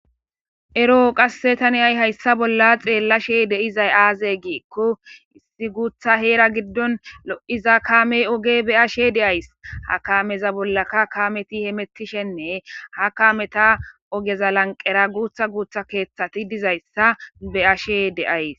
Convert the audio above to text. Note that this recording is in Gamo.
ero7o qasse taniyay hayssa bolla xeellashe de7izay aaze giikko issi guutha heera giddon lo7iza kaamey oge be ashe deays ha kaameza bollaka kameti hemettishenne ha kameta ogeza lanqera guutha guutha keeththati dizayssa be ashe deays